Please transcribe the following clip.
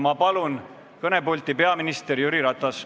Ma palun kõnepulti peaminister Jüri Ratase.